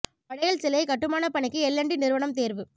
படேல் சிலை கட்டுமானப் பணிக்கு எல் அண்ட் டி நிறுவனம் தேர்வு